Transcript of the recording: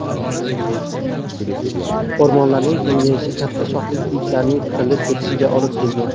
O‘rmonlarning kengayishi katta shoxli kiyiklarning qirilib ketishiga olib kelgan.